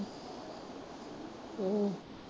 ਹਮ